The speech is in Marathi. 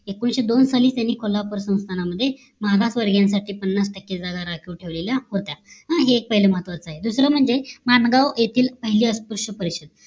एकोणीशे दोन साली त्यांनी कोल्हापूर संस्थान मध्ये मागासवर्गीयांसाठी पन्नास टक्के जागा राखीव ठेवलेल्या होत्या. हे एक पाहिलं महत्वाचं आहे दुसरं म्हणजे माणगाव येथील पाहिलें अस्पृश्य परिषद